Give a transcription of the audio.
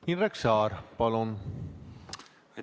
Indrek Saar, palun!